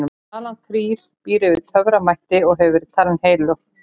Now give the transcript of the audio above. talan þrír býr yfir töframætti og hefur verið talin heilög